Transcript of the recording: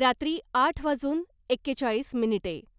रात्री आठ वाजून एकेचाळीस मिनिटे.